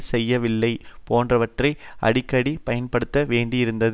செய்யவில்லை போன்றவற்றை அடிக்கடி பயன்படுத்த வேண்டியிருந்தது